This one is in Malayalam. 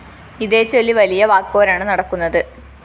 ഇതേച്ചൊല്ലി വലിയ വാക്‌പോരാണ് നടക്കുന്നത്